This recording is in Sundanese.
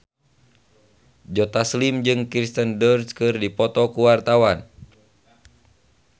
Joe Taslim jeung Kirsten Dunst keur dipoto ku wartawan